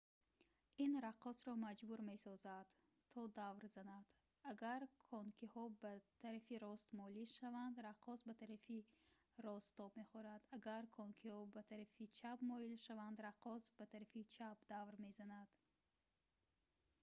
ин раққосро маҷбур месозад то давр занад агар конкиҳо ба тарафи рост моил шаванд раққос ба тарафи рост тоб мехӯрад агар конкиҳо ба тарафи чап моил шаванд раққос ба тарафи чап давр мезанад